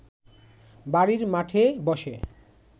বাড়ির মাঠে বসে